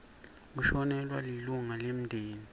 kushonelwa lilunga lemndeni